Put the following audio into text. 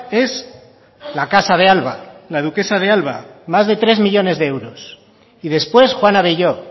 es la casa de alba la duquesa de alba más de tres millónes de euros y después juan abelló